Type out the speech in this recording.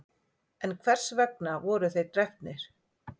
en hvers vegna voru þeir drepnir